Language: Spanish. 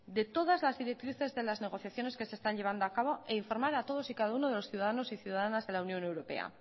de todas las directrices de las negociaciones que se están llevando acabo e informar a todos y cada uno de los ciudadanos y ciudadanas de la unión europea